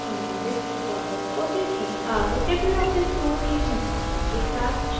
अब libreoffice suite के संस्थापन के साथ शुरू करते हैं